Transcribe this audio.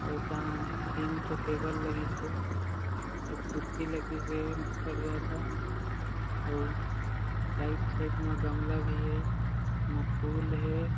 अउ ए तहा तीन ठो टेबल लगिस हे अउ कुर्सी लगिस हे बड़ जादा अउ आइड-साइड म गमला भी हे अउ एमा फूल हे।